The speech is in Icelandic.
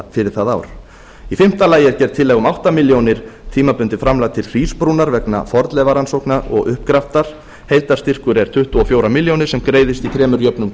fyrir það ár í fimmta lagi er gerð tillaga um átta ár tímabundið framlag til hrísbrúnar vegna fornleifarannsókna og uppgraftar heildarstyrkur er tuttugu og fjögur ár sem greiðist í þremur jöfnum